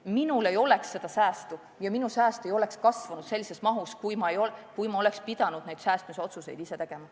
Minul ei oleks seda säästu ja minu sääst ei oleks kasvanud sellises mahus, kui ma oleks pidanud säästmisotsuseid ise tegema.